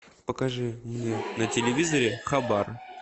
покажи мне на телевизоре хабар